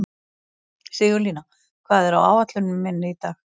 Sigurlína, hvað er á áætluninni minni í dag?